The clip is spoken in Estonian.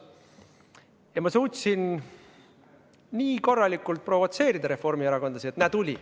Ja ma suutsin nii korralikult provotseerida reformierakondlasi, et näe, tuli.